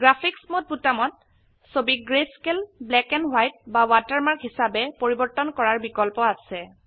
graphics মদে বোতামত ছবিক গ্ৰেস্কেল black and ৱাইট বা ৱাটাৰমাৰ্ক হিসাবে পৰিবৰ্তন কৰাৰ বিকল্প আছে